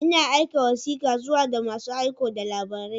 Ina aika wasika zuwa ga masu aiko da labarai.